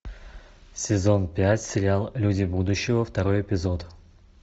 сезон пять сериал люди будущего второй эпизод